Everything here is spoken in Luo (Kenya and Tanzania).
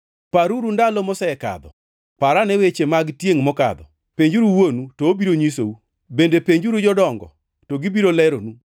Paruru ndalo mosekadho, parane weche mag tiengʼ mokadho. Penjuru wuonu, to obiro nyisou, bende penjuru jodongo, to gibiro leronu.